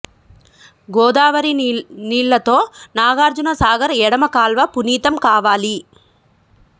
గోదావరి నీళ్లతో నాగార్జున సాగర్ ఎడమ కాల్వ పునీతం కావాలి